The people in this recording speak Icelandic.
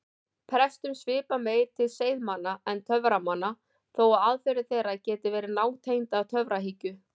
Prestum svipar meir til seiðmanna en töframanna þó að aðferðir þeirra geti verið nátengdar töfrahyggju.